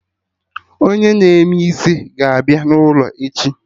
Onye na-eme eme isi ga-abịa n'ụlọ echi